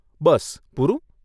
બસ, પૂરું?